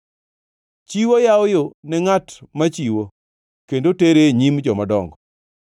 Chiwo yawo yo ne ngʼat machiwo kendo tere e nyim jomadongo.